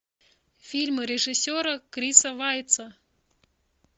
фильмы режиссера криса вайца